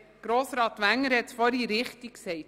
Grossrat Wenger hat es vorhin richtig gesagt: